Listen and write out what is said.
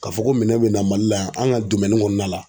Ka fɔ ko minɛn be na Mali la yan an ka kɔnɔna la.